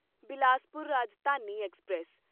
Bilaspur Rajdhani express